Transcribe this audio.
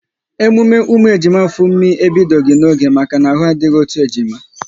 Emume ụmụ ejima Funmi ebidoghi n'oge maka na ahụ adịghị otu ejima